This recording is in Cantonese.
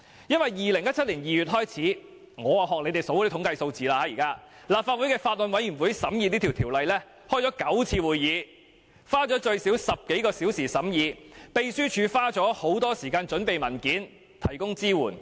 讓我也學建制派列舉統計數字，自2017年2月起，審議《條例草案》的法案委員會曾召開9次會議，最少花了10多小時進行審議，而秘書處亦花了很多時間準備文件，提供支援。